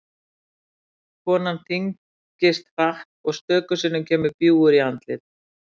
Konan þyngist hratt og stöku sinnum kemur bjúgur í andlit.